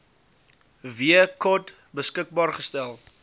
wkod beskikbaar gestel